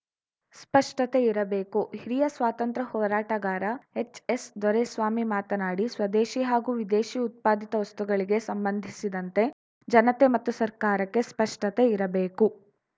ಸ್ಪಷ್ಟತೆ ಇರಬೇಕು ಹಿರಿಯ ಸ್ವಾತಂತ್ರ್ಯ ಹೋರಾಟಗಾರ ಎಚ್‌ಎಸ್‌ದೊರೆಸ್ವಾಮಿ ಮಾತನಾಡಿ ಸ್ವದೇಶಿ ಹಾಗೂ ವಿದೇಶಿ ಉತ್ಪಾದಿತ ವಸ್ತುಗಳಿಗೆ ಸಂಬಂಧಿಸಿದಂತೆ ಜನತೆ ಮತ್ತು ಸರ್ಕಾರಕ್ಕೆ ಸ್ಪಷ್ಟತೆ ಇರಬೇಕು